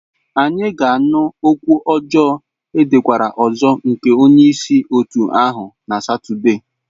Anyị ga-anụ okwu ọjọọ edekwara ọzọ nke onye isi otu ahụ na Satọde.